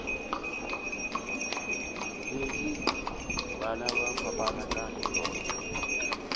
letše ba fapana ka yona